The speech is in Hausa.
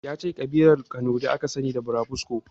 Yace Ƙabilar kanuri aka sani da burabusko